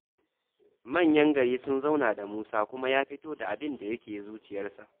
Manyan gari sun zauna da Musa kuma ya fito da abinda yake zuciyarsa.